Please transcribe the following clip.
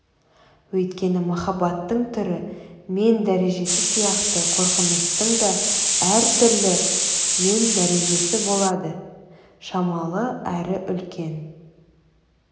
өйткені махаббаттың түрі мен дәрежесі сияқты қорқыныштың да әртүрлі түрі мен дәрежесі болады шамалы әрі үлкен